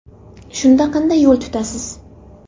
Shunda qanday yo‘l tutasiz.